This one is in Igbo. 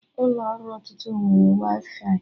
Ụlọ ọrụ ọtụtụ nwere waifai